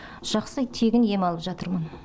жақсы тегін ем алып жатырмын